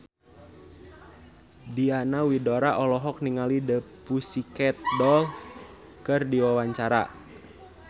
Diana Widoera olohok ningali The Pussycat Dolls keur diwawancara